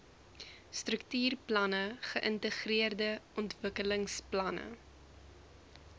struktuurplanne geïntegreerde ontwikkelingsplanne